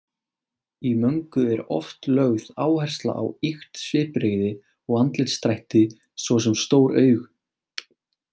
Í möngu er oft lögð áhersla á ýkt svipbrigði og andlitsdrætti, svo sem stór augu.